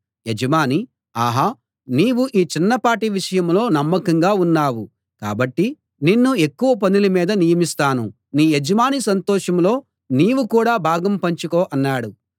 యజమాని ఆహా నీవు ఈ చిన్నపాటి విషయంలో నమ్మకంగా ఉన్నావు కాబట్టి నిన్ను ఎక్కువ పనుల మీద నియమిస్తాను నీ యజమాని సంతోషంలో నీవు కూడా భాగం పంచుకో అన్నాడు